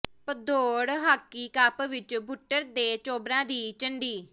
Bhadaur hockey cup ਵਿੱਚ ਬੁੱਟਰ ਦੇ ਚੋਬਰਾਂ ਦੀ ਝੰਡੀ